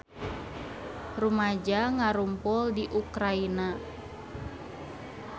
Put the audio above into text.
Rumaja ngarumpul di Ukraina